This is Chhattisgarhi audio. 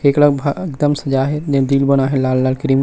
एकरा भा एकदम सजा हे दिल बना हे लाल-लाल क्री--